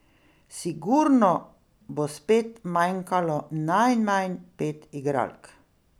Sigurno bo spet manjkalo najmanj pet igralk.